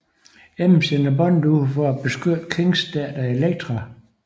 M sender Bond ud for at beskytte Kings datter Elektra